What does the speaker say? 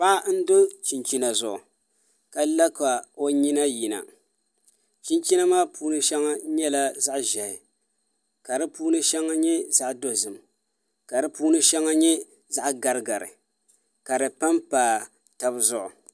Paɣa n do chinchina zuɣu ka la o nyina yina chinchina maa puuni shɛŋa nyɛla zaɣ ʒiɛhi ka di puuni shɛŋa nyɛ zaɣ dozim ka di puuni shɛŋa nyɛ zaɣ garigari ka di panpa tabi zuɣu